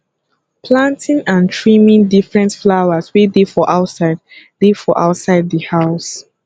planting and trimming different flowers wey dey for outside dey for outside di house